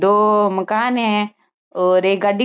दो मकान है और एक गाड़ी --